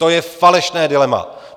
To je falešné dilema!